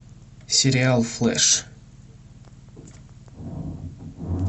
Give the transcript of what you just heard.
сериал флэш